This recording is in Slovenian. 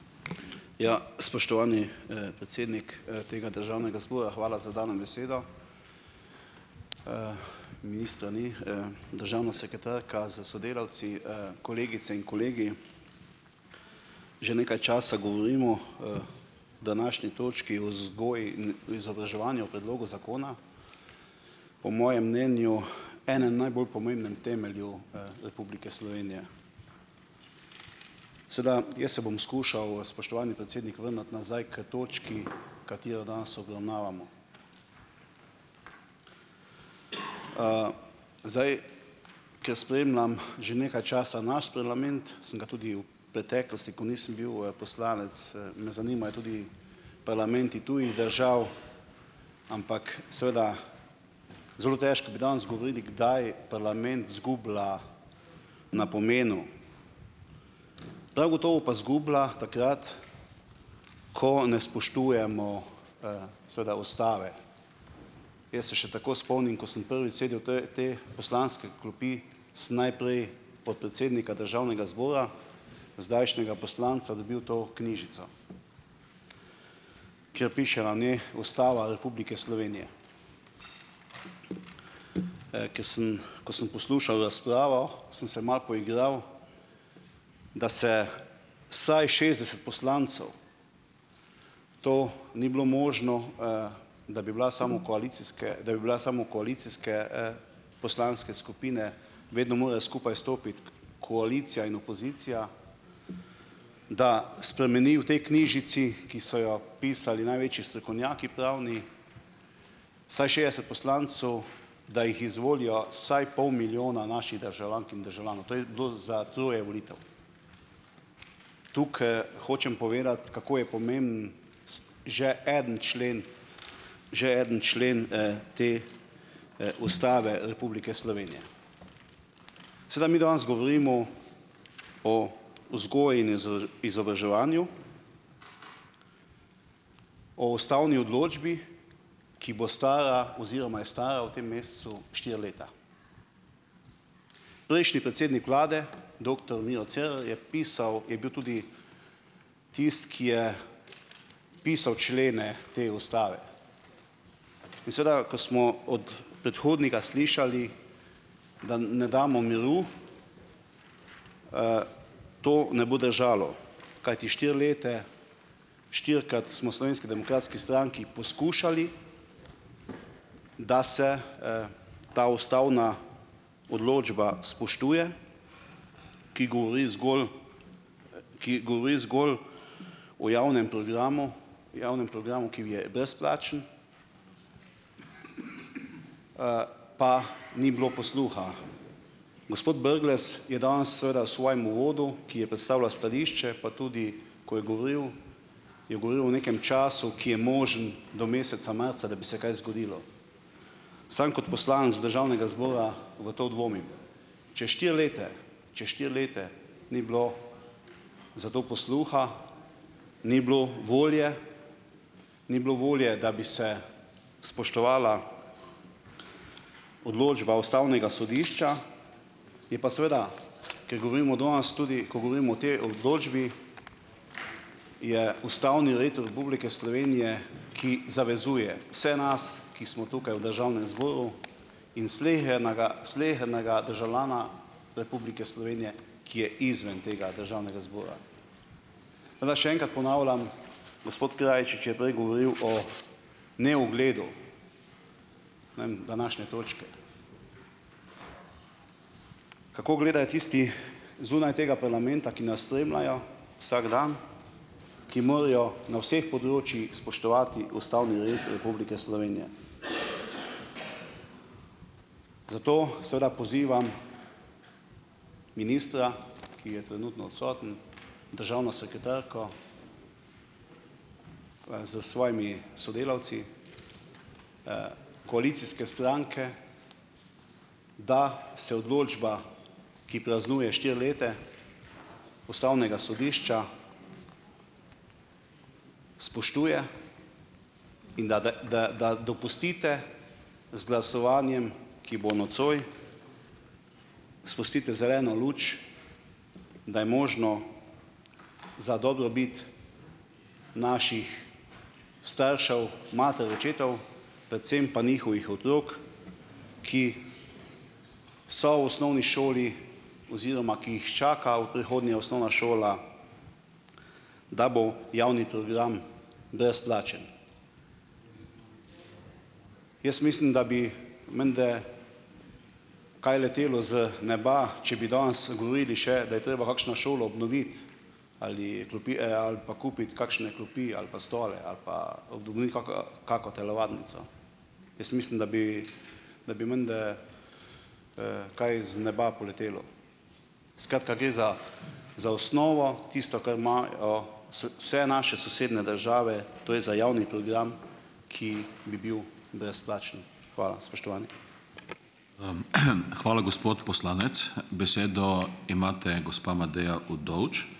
Ja, spoštovani, predsednik, tega državnega zbora, hvala za dano besedo. Ministra ni, Državna sekretarka s sodelavci, kolegice in kolegi! Že nekaj časa govorimo, današnji točki o vzgoji in izobraževanju, o predlogu zakona. Po mojem mnenju enem najbolj pomembnem temelju, Republike Slovenije. Sedaj jaz se bom skušal, spoštovani predsednik, vrniti nazaj k točki, katero danes obravnavamo. Zdaj, ker spremljam že nekaj časa naš parlament, sem ga tudi v preteklosti, ko nisem bil, poslanec, me zanimajo tudi parlamenti tujih držav. Ampak seveda zelo težko bi danes govorili, kdaj parlament izgublja na pomenu. Prav gotovo pa izgublja takrat, ko ne spoštujemo, seveda ustave. Jaz se še tako spomnim, ko sem prvič sedel te v te poslanske klopi, sem najprej podpredsednika državnega zbora, zdajšnjega poslanca, dobil to knjižico. Kjer piše na njej Ustava Republike Slovenije. Ko sem ko sem poslušal razpravo, sem se malo poigral, da se vsaj šestdeset poslancev to ni bilo možno, da bi bila samo koalicijske, da bi bila samo koalicijske, poslanske skupine, vedno morajo skupaj stopiti koalicija in opozicija, da spremeni v tej knjižici, ki so jo pisali največji strokovnjaki pravni, vsaj šest poslancev da jih izvolijo, vsaj pol milijona naših državljank in državljanov. To je do za troje volitev. Tukaj hočem povedati, kako je pomembno, že eden člen, že eden člen, te, Ustave Republike Slovenije. Sedaj mi danes govorimo o vzgoji in izobraževanju. O ustavni odločbi, ki bo stara oziroma je stara v tem mesecu štiri leta. Prejšnji predsednik vlade, doktor Miro Cerar, je pisal, je bil tudi tisti, ki je pisal člene te ustave. In seveda, ko smo od predhodnika slišali, da ne damo miru, to ne bo držalo. Kajti štiri leta štirikrat smo Slovenski demokratski stranki poskušali, da se, ta ustavna odločba spoštuje, ki govori zgolj, ki govori zgolj o javnem programu, javnem programu, ki je brezplačen, pa ni bilo posluha. Gospod Brglez je danes seveda v svojem uvodu, ki je predstavlja stališče pa tudi, ko je govoril, je govoril o nekem času, ki je možen do meseca marca, da bi se kaj zgodilo. Sam kot poslanec državnega zbora v to dvomim. Če štiri leta ... Če štiri leta ni bilo za to posluha, ni bilo volje, ni bilo volje, da bi se spoštovala odločba ustavnega sodišča, je pa seveda, ker govorimo danes tudi, ko govorimo o potem odločbi, je ustavni red Republike Slovenije, ki zavezuje vse nas, ki smo tukaj v državnem zboru, in slehernaga, slehernega državljana Republike Slovenije, ki je izven tega državnega zbora. Še enkrat ponavljam, gospod Krajčič je prej govoril o neugledu, današnje točke. Kako gledajo tisti zunaj tega parlamenta, ki nas spremljajo, vsak dan, ki morajo na vseh področjih spoštovati ustavni red Republike Slovenije. Zato seveda pozivam ministra, ki je trenutno odsoten, državno sekretarko, pa s svojimi sodelavci, koalicijske stranke, da se odločba, ki praznuje štiri leta, ustavnega sodišča spoštuje, in da da dopustite z glasovanjem, ki bo nocoj, spustite zeleno luč, da je možno za dobrobit naših staršev, mater, očetov, predvsem pa njihovih otrok, ki so v osnovni šoli oziroma ki jih čaka v prihodnje osnovna šola, da bo javni program brezplačen. Jaz mislim, da bi menda kaj letelo z neba, če bi danes, govorili še, da je treba kakšno šolo obnoviti ali klopi, ali pa kupiti kakšne klopi ali pa stole ali pa kaka, kako telovadnico. Jaz mislim, da bi da bi menda, kaj z neba poletelo. Skratka, gre za za osnovo, tisto, kar imajo, vse naše sosednje države, to je za javni program, ki bi bil brezplačen. Hvala, spoštovani.